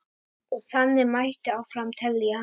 Og þannig mætti áfram telja.